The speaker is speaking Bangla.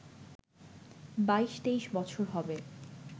২২-২৩ বছর হবে